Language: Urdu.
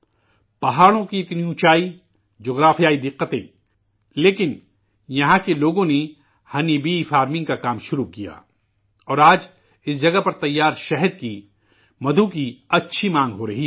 پہاڑوں کی اتنی بلندی ، جغرافیائی دقتیں، لیکن، یہاں کے لوگوں نے شہد کی مکھی کی زراعت کا کام شروع کیا، اور آج، اس جگہ پر بنے شہد کی، مدھو کی، اچھی مانگ ہو رہی ہے